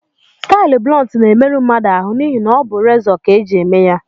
Stailu blunt na-emeru mmadụ ahụ, n’ihi na ọ bụ rezọ ka e ji eme ya